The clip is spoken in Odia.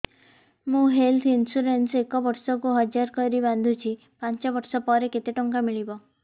ମୁ ହେଲ୍ଥ ଇନ୍ସୁରାନ୍ସ ଏକ ବର୍ଷକୁ ହଜାର କରି ବାନ୍ଧୁଛି ପାଞ୍ଚ ବର୍ଷ ପରେ କେତେ ଟଙ୍କା ମିଳିବ